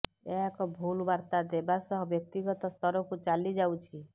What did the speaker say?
ଏହା ଏକ ଭୁଲ ବାର୍ତ୍ତା ଦେବା ସହ ବ୍ୟକ୍ତିଗତ ସ୍ତରକୁ ଚାଲି ଯାଉଛି